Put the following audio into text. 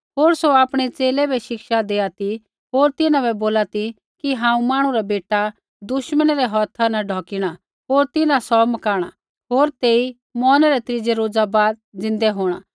होर सौ आपणै च़ेले बै शिक्षा देआ ती होर तिन्हां बै बोला ती कि हांऊँ मांहणु रा बेटा दुश्मनै रै हौथा ढौकिणै होर तिन्हां सौ मकाणा होर तेई मौरने रै त्रीज़ै रोज़ा बाद ज़िन्दा होंणा